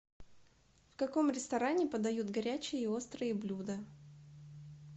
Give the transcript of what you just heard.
в каком ресторане подают горячие и острые блюда